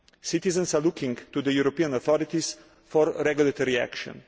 Citizens are looking to the European authorities for regulatory action.